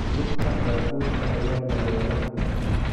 Lugta baabuurka ayaa daloola.